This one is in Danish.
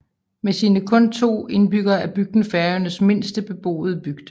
Med sine kun to indbyggere er bygden Færøernes mindste beboede bygd